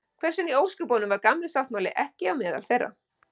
hvers vegna í ósköpunum var „gamli sáttmáli“ ekki á meðal þeirra